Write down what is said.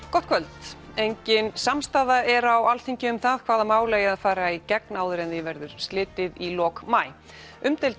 gott kvöld engin samstaða er á Alþingi um það hvaða mál eigi að fara í gegn áður en því verður slitið í lok maí umdeild